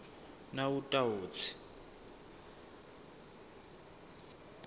nawutawutsi